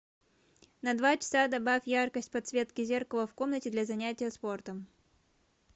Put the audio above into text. на два часа добавь яркость подсветки зеркала в комнате для занятия спортом